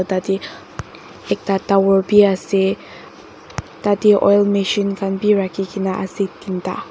tadeh ekta tower bi ase tatey oil machine khan bi rakhi keni ase tinta.